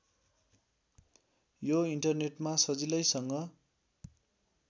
यो इन्टरनेटमा सजिलैसँग